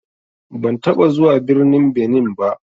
Ban taɓa zuwa birnin Benin ba.